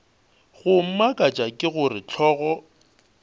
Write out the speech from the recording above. go mmakatša ke gore hlogo